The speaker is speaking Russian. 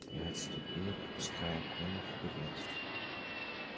и отступила пропуская колю вперёд